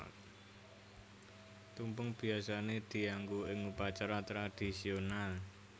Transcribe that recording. Tumpeng biyasané dianggo ing upacara tradisional